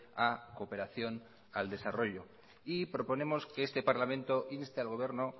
a cooperación al desarrollo proponemos que este parlamento inste al gobierno